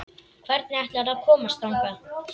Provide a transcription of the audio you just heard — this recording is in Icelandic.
Hvernig ætlarðu að komast þangað?